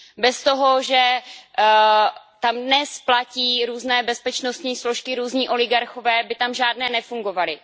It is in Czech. Bez toho, že tam dnes platí různé bezpečnostní složky různí oligarchové, by tam žádné nefungovaly.